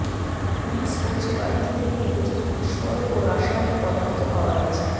police বলছে বাড়িটি থেকে প্রচুর বিস্ফোরক ও রাসায়নিক পদার্থ পাওয়া গেছে